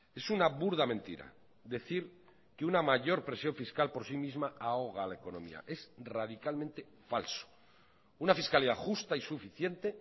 es una burda mentira decir que una mayor presión fiscal por sí misma ahoga a la economía es radicalmente falso una fiscalidad justa y suficiente